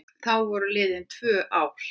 Þá voru liðin tvö ár.